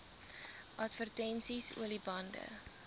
advertensies olie bande